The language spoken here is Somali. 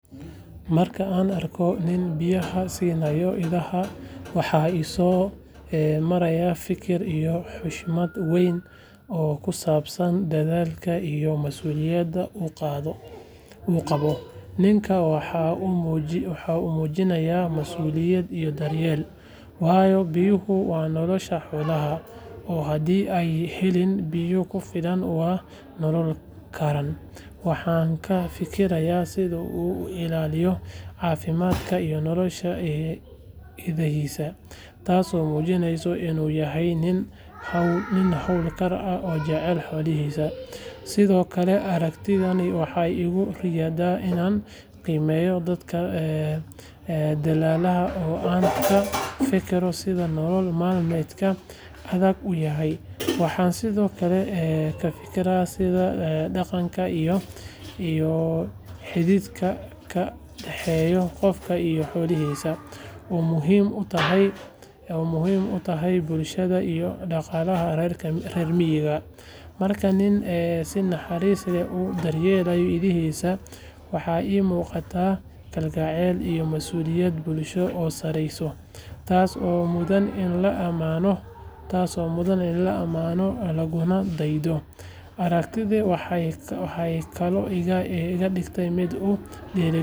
Marka aan arko nin biyaha siinaaya idaha, waxa i soo maraya fikir iyo xushmad weyn oo ku saabsan dadaalka iyo masuuliyadda uu qabo. Ninku waxa uu muujinayaa masuuliyad iyo daryeel, waayo biyuhu waa nolosha xoolaha, oo haddii aanay helin biyo ku filan ma noolaan karaan. Waxaan ka fikirayaa sida uu u ilaaliyo caafimaadka iyo nolosha idahiisa, taasoo muujinaysa in uu yahay nin hawlkar ah oo jecel xoolahiisa. Sidoo kale, aragtidaasi waxay igu riixaysaa inaan qiimeeyo dadka dadaala oo aan ka fekero sida nolol maalmeedka adag uu yahay. Waxaan sidoo kale ka fikiraa sida dhaqanka iyo xidhiidhka ka dhexeeya qofka iyo xoolihiisa uu muhiim u yahay bulshada iyo dhaqaalaha reer miyiga. Marka nin si naxariis leh u daryeela idahiisa, waxaa ii muuqda kalgacal iyo mas’uuliyad bulsho oo sareysa, taas oo mudan in la ammaano laguna daydo. Aragtidani waxay kaloo iga dhigtaa mid ku dhiirrigelisa.